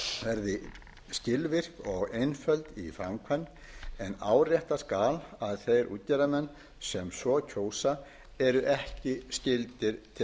verði skilvirk og einföld í framkvæmd en áréttað skal að þeir útgerðarmenn sem svo kjósa eru ekki skyldir til